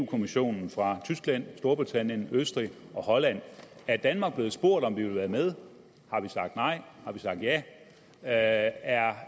kommissionen fra tyskland storbritannien østrig og holland er danmark blevet spurgt om vi vil være med har vi sagt nej har vi sagt ja ja er